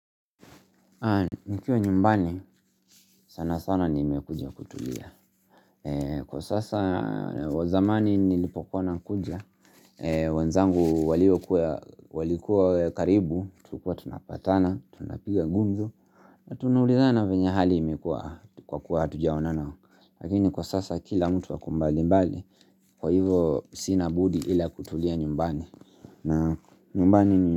Nikiwa nyumbani sana sana nimekujia kutulia. Kwa sasa zamani nilipokuwa nakuja wenzangu walikuwa karibu. Tulikua tunapatana, tunapiga gumzo. Tunaulizana venye hali imekuwa kwa kuwa hatujaonana. Lakini kwa sasa kila mtu ako mbali mbali. Kwa hivo sina budi ila kutulia nyumbani. Na nyumbani ni.